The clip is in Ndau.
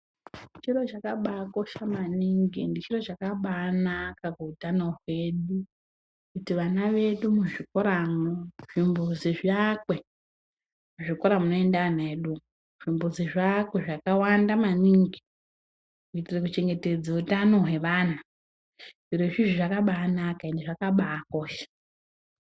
Chiro chakabakosha maningi ende chiro chakabanaka kuhutano hwedu. Kuti vana vedu muzvikoramwo zvimbuzi zviakwe muzvikora munoenda ana edu, zvimbuzi zviakwe zvakawanda maningi. Kuitire kuchengetedze hutano hweana zvorozvo zvakabanaka ende zvakabakosha.